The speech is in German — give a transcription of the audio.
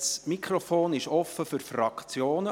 Das Mikrofon ist offen für die Fraktionen.